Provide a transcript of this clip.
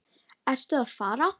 Ertu að fara?